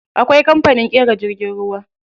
Akwai kamfanin ƙera jirgin ruwa.